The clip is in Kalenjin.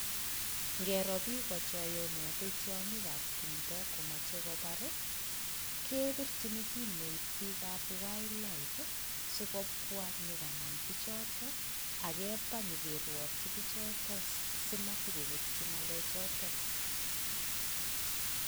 Ngero bik chayonati tiongikab tumdo komache kobar ii, kebirchin simoit bikab Wildlife sikobwa nyogonan bichoton ak keba nyikiruokyi bichoton simatokoketyi ngalechon.